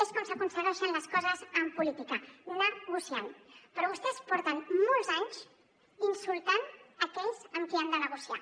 és com s’aconsegueixen les coses en política negociantmolts anys insultant aquells amb qui han de negociar